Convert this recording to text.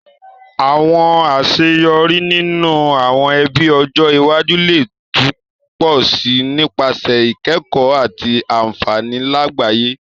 Àwon àseyorí ninú àwon ebí ọjọ́ iwájú le tun pọ si nípasẹ̀ ìkẹ̀kó àti ànfàní làgbáyẹ́